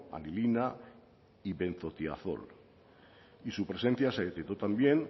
anilina y benzotiazol y su presencia se detectó también